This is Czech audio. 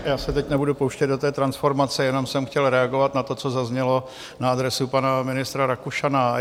Já se teď nebudu pouštět do té transformace, jenom jsem chtěl reagovat na to, co zaznělo na adresu pana ministra Rakušana.